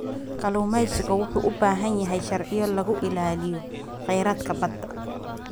Kalluumeysigu wuxuu u baahan yahay sharciyo lagu ilaaliyo kheyraadka badda.